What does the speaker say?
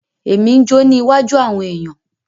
Emi n jo ni iwájú àwọn èyàn.